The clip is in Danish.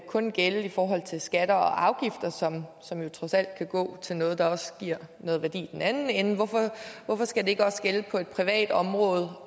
kun gælde i forhold til skatter og afgifter som som jo trods alt kan gå til noget der også giver noget værdi i den anden ende hvorfor skal det ikke også gælde på et privat område